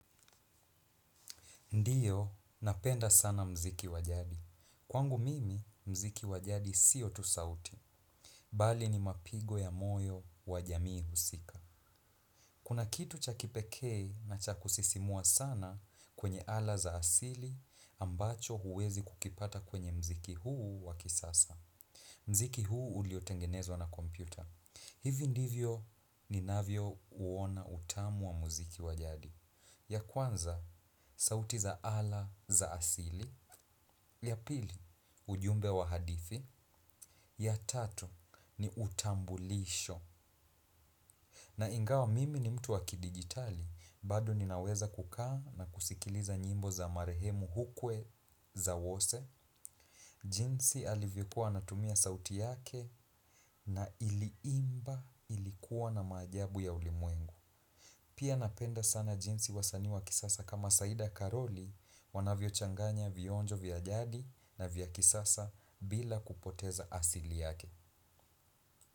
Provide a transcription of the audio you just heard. Ndiyo, napenda sana mziki wajadi. Kwangu mimi, mziki wajadi sio tu sauti. Bali ni mapigo ya moyo wa jamii husika. Kuna kitu cha kipeke na cha kusisimua sana kwenye ala za asili ambacho huwezi kukipata kwenye mziki huu wa kisasa. Mziki huu uliotengenezwa na kompyuta. Hivi ndivyo ninavyouona utamu wa mziki wa jadi. Ya kwanza, sauti za ala za asili. Ya pili, ujumbe wa hadithi. Ya tatu, ni utambulisho. Na ingawa mimi ni mtu wa kidigitali bado ninaweza kukaa na kusikiliza nyimbo za marehemu hukwe za wose. Jinsi alivyokua anatumia sauti yake. Na iliimba ilikuwa na maajabu ya ulimwengu. Pia napenda sana jinsi wasanii wa kisasa kama Saida Karoli Wanavyochanganya vionjo vya jadi na vya kisasa bila kupoteza asili yake.